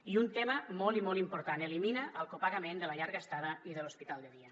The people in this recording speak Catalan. i un tema molt i molt important elimina el copagament de la llarga estada i de l’hospital de dia